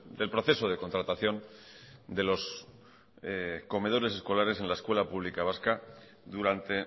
del proceso de contratación de los comedores sociales en la escuela pública vasca durante